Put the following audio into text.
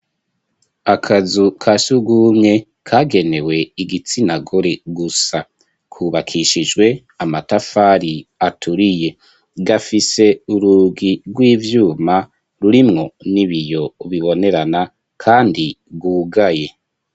Akazu ka sugumwe kagenewe igitsinagore gusa kubakishijwe amatafari aturiye gafise ururi rw'ivyuma rurimwo n'ibiyo bibonerana kandi rwugaye.